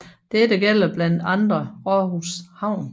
Dette gælder blandt andre Aarhus havn